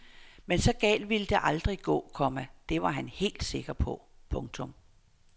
Men så galt ville det aldrig gå, komma det var han helt sikker på. punktum